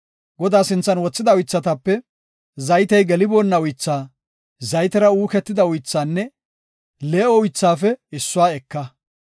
Godaa sinthan wothida uythatape, zaytey geliboonna uythaa, zaytera uukida uythaanne lee7o uythaafe issuwa eka.